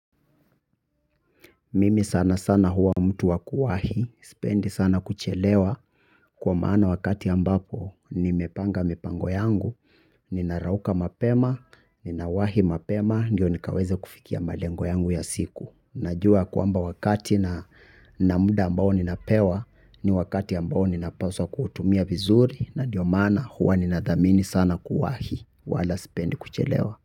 Mimi sana sana huwa mtu wakuwahi, sipendi sana kuchelewa, kwa maana wakati ambapo nimepanga mipango yangu, ninarauka mapema, nina wahi mapema, ndio nikaweze kufikia malengo yangu ya siku. Najua kwamba wakati na na muda ambao ninapewa, ni wakati ambao ninapaswa kuutumia vizuri, na ndio maana huwa ninadhamini sana kuwahi, wala sipendi kuchelewa.